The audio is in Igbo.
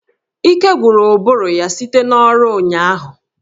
Ike gwụrụ ụbụrụ ya site n'ọrụ ụnyaahụ